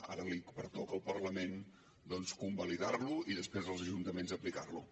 ara li pertoca al parlament doncs convalidar lo i després als ajuntaments aplicar lo